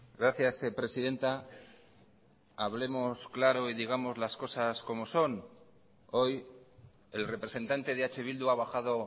gracias presidenta hablemos claro y digamos las cosas como son hoy el representante de eh bildu ha bajado